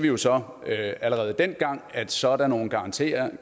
jo så allerede dengang at sådan nogle garantier